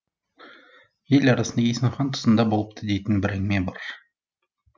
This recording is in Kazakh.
ел арасында есім хан тұсында болыпты дейтін бір әңгіме бар